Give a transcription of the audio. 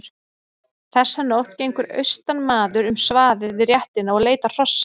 Þessa nótt gengur austanmaður um svaðið við réttina og leitar hrossa.